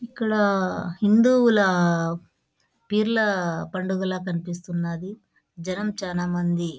ఇక్కడ హిందువుల పీర్ల పండుగల కనిపిస్తుంది .జనం చాలామంది--